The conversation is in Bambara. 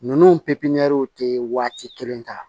Ninnu pepiniyɛriw tɛ waati kelen ta